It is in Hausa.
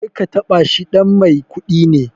Karka taɓa shi, ɗan mai kuɗi ne